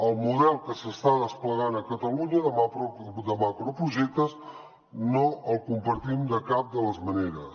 el model que s’està desplegant a catalunya de macroprojectes no el compartim de cap de les maneres